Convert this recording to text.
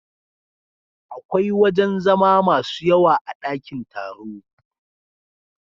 Akwai wajen zama masu yawa a dakin taro.